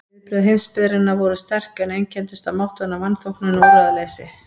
Viðbrögð heimsbyggðarinnar voru sterk, en einkenndust af máttvana vanþóknun og úrræðaleysi.